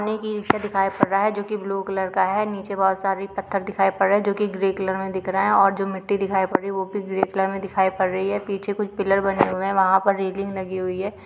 हमें एक e rickshaw दिखाई पड़ रहा है जो की ब्लू कलर का है नीचे बहोत सारे पत्थर दिखाई पड़ रहे हैं जो की ग्रे कलर में दिख दे रहे है और जो मिट्टी दिखाई पड़ रही है और वो भी ग्रे कलर में दिखाई पड़ रही है पीछे कुछ पिलर बने हुए हैं वहाँ पर रेलिंग लगी हुई है।